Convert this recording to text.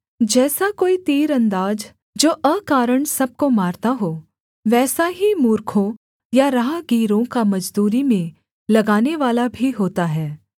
जैसा कोई तीरन्दाज जो अकारण सब को मारता हो वैसा ही मूर्खों या राहगीरों का मजदूरी में लगानेवाला भी होता है